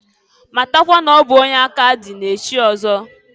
Matakwa n'ọ bụ onye aka dị na-echi ọzọ.